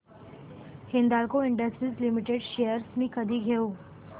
Hindalco industries limited shares मी कधी घेऊ